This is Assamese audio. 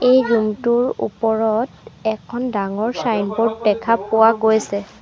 এই ৰুম টোৰ ওপৰত এখন ডাঙৰ চাইনব'ৰ্ড দেখা পোৱা গৈছে।